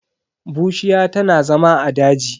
Bushiya tana zama a daji.